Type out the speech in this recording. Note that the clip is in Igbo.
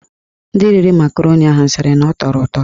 Ndị riri makaroni ahụ sịrị na ọ tọrọ ụtọ.